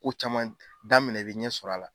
Ko caman daminɛ i bɛ ɲɛsɔrɔ a la.